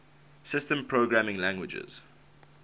systems programming languages